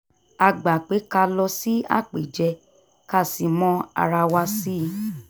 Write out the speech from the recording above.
a gbà pé ká lọ sí àpèjẹ ká sì mọ ara wa sí i